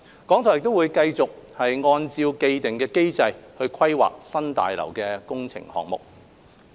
港台會繼續按照既定機制規劃新廣播大樓的工程項目。